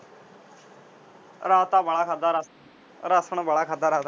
ਰਾਤ ਤਾਂ ਵਾਲਾ ਖਾਦਾ ਰਾਸ ਰਾਸ਼ਨ ਵਾਲਾ ਖਾਦਾ ਰਾਤ